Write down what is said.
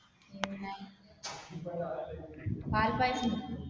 പിന്നെ പാൽപായസം വെക്കോ?